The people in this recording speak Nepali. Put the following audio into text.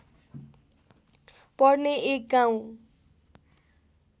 पर्ने एक गाउँ